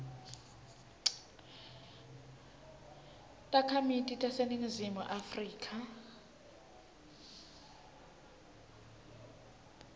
takhamiti taseningizimu afrika